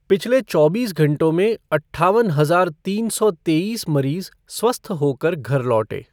पिछले चौबीस घंटों में अट्ठावन हजार तीन सौ तेईस मरीज स्वस्थ होकर घर लौटे।